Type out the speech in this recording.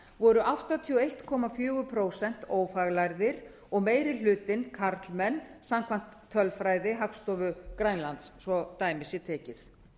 voru áttatíu og einn komma fjögur prósent ófaglærðir og meiri hlutinn karlmenn samkvæmt tölfræði hagstofu grænlands svo að dæmi sé tekið